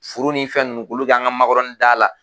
Furu ni fɛn nunnu k'olu k'an ka makɔrɔnin da la